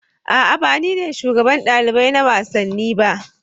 A'a ba ni ne shugaban ɗalibai na wasanni ba